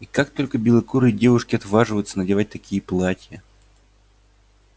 и как только белокурые девушки отваживаются надевать такие платья